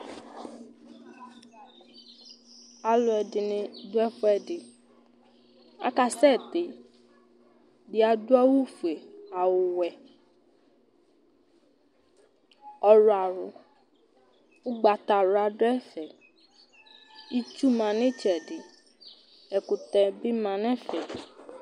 Alʋɛdìní ɖu ɛfʋɛɖi Akasɛti Ɛɖì aɖu awu fʋe, awu wɛ, ɔwlɔmɔ Ʋgbatawla ɖu ɛfɛ Itsu ma ŋu itsɛɖi Ɛkutɛ bi ma ŋu ɛfɛ